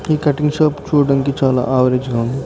ఈ cutting shop చుడండి చాల అవేరేజ్ గా ఉంది.